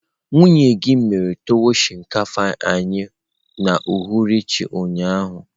Nwunye gi mere tuwon shinkafa anyi n'uhuruchi ụnyaahụ.